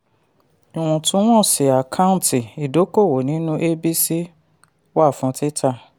ìwọ̀túnwọ̀sì àkántì: idókòwò nínú abc wà fún títà.